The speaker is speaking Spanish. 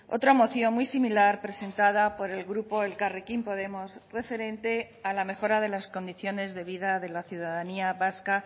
otra moción muy similar presentada por el grupo elkarrekin podemos referente a la mejora de las condiciones de vida de la ciudadanía vasca